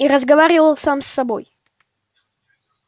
и разговаривал сам с собой